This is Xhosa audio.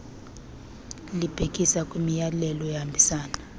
libhekisa kwimiyalelo ehambisana